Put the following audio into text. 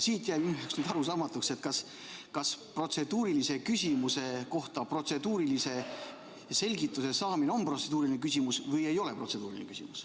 Minu jaoks jäi arusaamatuks, kas protseduurilise küsimuse kohta protseduurilise selgituse saamine on protseduuriline küsimus või ei ole protseduuriline küsimus.